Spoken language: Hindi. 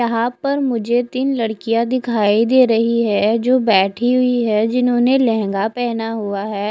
यहा पर मुझे तिन लडकिया दिखाई दे रही है जो बेठी हुई है जिन्होंने लहंगा पहना हुआ है।